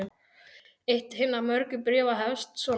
Eitt hinna mörgu bréfa hefst svona